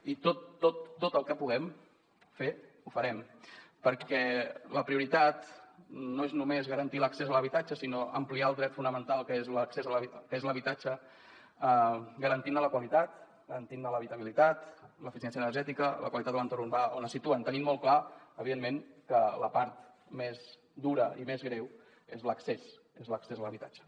i tot tot tot el que puguem fer ho farem perquè la prioritat no és només garantir l’accés a l’habitatge sinó ampliar el dret fonamental que és l’accés a l’habitatge garantint ne la qualitat garantint ne l’habitabilitat l’eficiència energètica la qualitat de l’entorn urbà on es situen tenint molt clar evidentment que la part més dura i més greu és l’accés és l’accés a l’habitatge